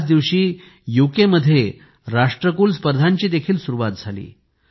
त्याच दिवशी युकेमध्ये राष्ट्रकुल स्पर्धांची देखील सुरुवात झाली